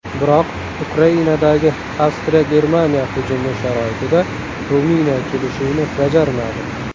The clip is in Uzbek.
Biroq Ukrainadagi AvstriyaGermaniya hujumi sharoitida Ruminiya kelishuvni bajarmadi.